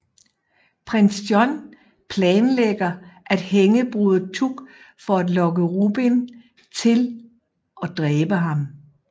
Prins John planlægger at hænge Broder Tuck for at lokke Robin til og dræbe ham